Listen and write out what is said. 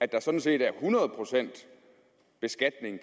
der sådan set er hundrede procent beskatning